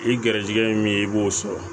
I garijɛgɛ ye min ye i b'o sɔrɔ